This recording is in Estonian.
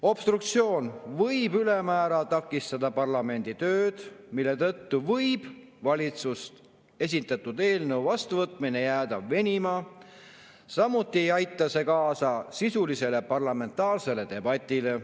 Obstruktsioon võib ülemäära takistada parlamendi tööd, mille tõttu võib valitsuse esitatud eelnõu vastuvõtmine jääda venima, samuti ei aita see kaasa sisulisele parlamentaarsele debatile.